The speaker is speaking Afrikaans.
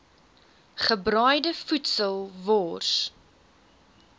gebraaide voedsel wors